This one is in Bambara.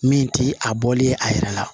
Min ti a bɔli ye a yɛrɛ la